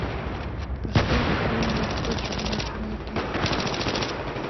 поставь фильмик точка возврата